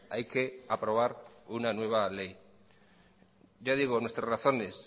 hay que aprobar una nueva ley ya digo nuestras razones